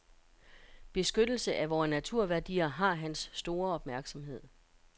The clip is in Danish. Beskyttelse af vore naturværdier har hans store opmærksomhed.